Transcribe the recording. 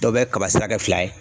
Dɔw bɛ kaba sira kɛ fila ye.